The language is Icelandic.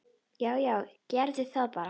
Já já, gerum það bara.